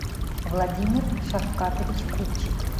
владимир шавкатович купчик